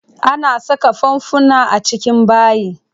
Ana saka fanfuna a cikin bayi.